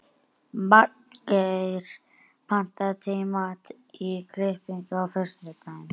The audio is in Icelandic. Magngeir, pantaðu tíma í klippingu á föstudaginn.